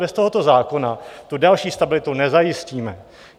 Bez tohoto zákona tu další stabilitu nezajistíme.